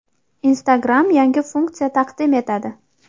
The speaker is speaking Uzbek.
Instagram yangi funksiya taqdim etadi.